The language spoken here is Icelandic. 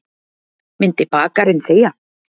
Myndi bakarinn þegja?